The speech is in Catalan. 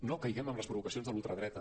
no caiguem en les provocacions de la ul·tradreta